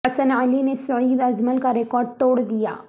حسن علی نے سعید اجمل کا ریکارڈ توڑ دیا